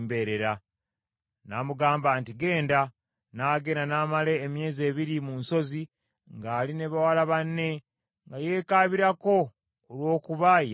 N’amugamba nti, “Genda.” N’agenda n’amala emyezi ebiri mu nsozi ng’ali ne bawala banne nga yeekaabirako olw’okuba yali mbeerera.